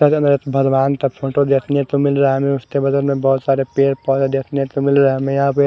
पहले में भगवान का फोटो देखने को मिल रहा है उसके बगल में बोहोत सारे पेड़ पोधे देखने को मिल रहे है हमें यहा पे --